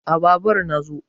a Babur na zo